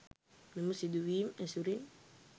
මෙම සිදුවීම් ඇසුරින්